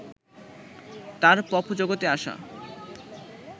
তার পপ জগতে আসা